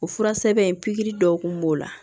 O fura sɛbɛn in pikiri dɔw kun b'o la